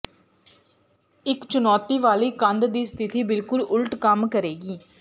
ਇੱਕ ਚੁਣੌਤੀ ਵਾਲੀ ਕੰਧ ਦੀ ਸਥਿਤੀ ਬਿਲਕੁਲ ਉਲਟ ਕੰਮ ਕਰੇਗੀ